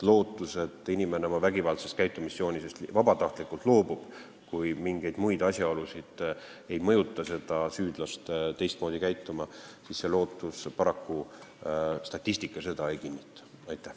Lootust, et inimene oma vägivaldsest käitumisjoonisest vabatahtlikult loobub, kui mingid muud asjaolud ei mõjuta teda teistmoodi käituma, statistika paraku ei kinnita.